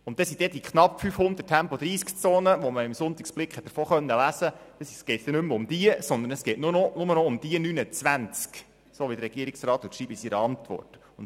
Es geht dann nicht mehr um die knapp 530 Tempo-30Zonen, über die man im «Sonntagsblick» lesen konnte, sondern um die 29, so wie es der Regierungsrat in seiner Antwort schreibt.